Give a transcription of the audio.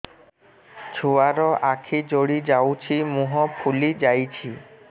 ଛୁଆର ଆଖି ଜଡ଼ି ଯାଉଛି ମୁହଁ ଫୁଲି ଯାଇଛି